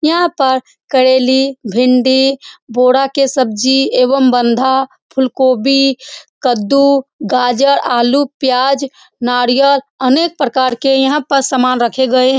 यहाँ पर करेली भिंडी के सब्जी एवं बंधा फुलकोभी कद्दू गाजर आलू प्याज नारियल अनेक प्रकार के यहाँ पर सामान रखे गए हैं ।